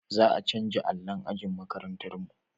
Za a canja allon ajin makarantar mu